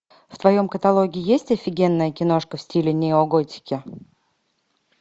в твоем каталоге есть офигенная киношка в стиле неоготики